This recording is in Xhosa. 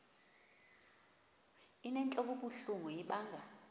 inentlok ebuhlungu ibanga